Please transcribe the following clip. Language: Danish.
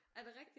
Er det rigtigt?